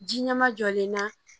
Ji ɲɛma jɔlen na